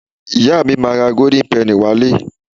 Ìyá mi máa ra golden Penny wá ilé